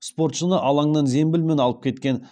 спортшыны алаңнан зембілмен алып кеткен